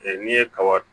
n'i ye kaba